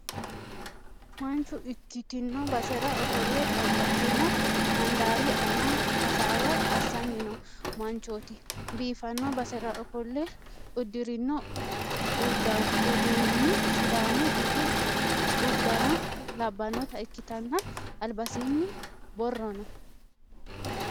Manchu ikkitino basera ofolle babbaxino handaari aana hasaawa assanni no manchooti. Biffanno basera ofolle udddirino uddanon sidamu bud uddano labbanota ikkitanna albasiinni borro no.